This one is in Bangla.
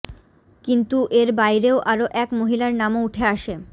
কিন্তু এর বাইরেও আরও এক মহিলার নামও উঠে আসে